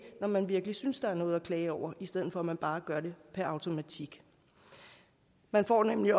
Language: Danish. når man virkelig synes der er noget at klage over i stedet for at man bare gør det per automatik man får nemlig